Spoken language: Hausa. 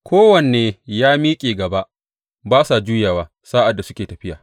Kowanne ya miƙe gaba; ba sa juyawa sa’ad da suke tafiya.